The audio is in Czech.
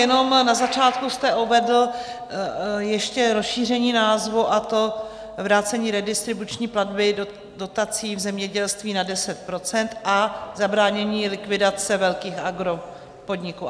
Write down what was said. Jenom na začátku jste uvedl ještě rozšíření názvu, a to Vrácení redistributivní platby dotací v zemědělství na 10 % a zabránění likvidace velkých agropodniků.